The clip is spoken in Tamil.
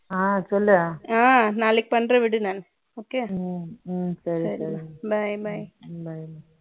ஆ, சொல்லு. ஆ, நாளைக்கு பண்றேன் விடு, நான். Okay யா ம், ம், சரி. Bye, bye bye